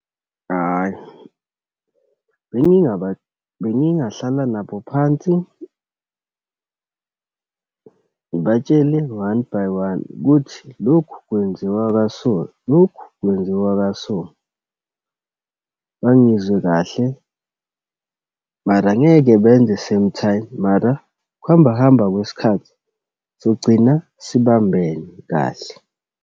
Ayi, bengingahlala nabo phansi, ngibatshele one by one ukuthi, lokhu kwenziwa kaso, lokhu kwenziwa kaso. Bangizwe kahle, mara angeke benze same time, mara ukuhamba hamba kwesikhathi sogcina sibambene kahle.